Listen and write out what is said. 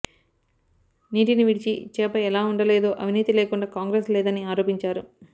నీటిని విడిచి చేప ఎలా ఉండలేదో అవినీతి లేకుండా కాంగ్రెస్ లేదని ఆరోపించారు